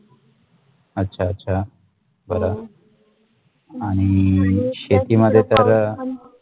अच्छा अच्छा बरं आणि शेती मधे तर.